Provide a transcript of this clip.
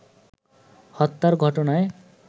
হত্যার ঘটনায়